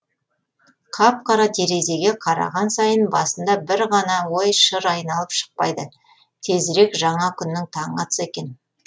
қап қара терезеге қараған сайын басында бір ғана ой шыр айналып шықпайды тезірек жаңа күннің таңы атса екен